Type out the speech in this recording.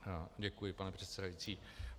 Děkuji, pane předsedající.